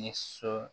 Ni so